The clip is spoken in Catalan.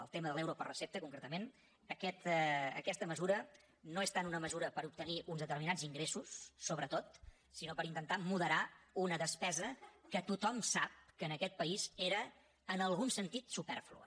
el tema de l’euro per recepta concretament aquesta mesura no és tant una mesura per obtenir uns determinats ingressos sobretot sinó per intentar moderar una despesa que tothom sap que en aquest país era en algun sentit supèrflua